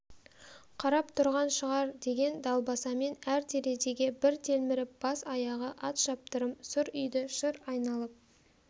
қарап тұрған шығар деген далбасамен әр терезеге бір телміріп бас-аяғы атшаптырым сұр үйді шыр айналып